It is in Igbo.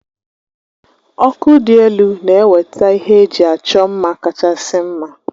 Ọkụ dị elu na-eweta ihe eji achọ mma kachasị mma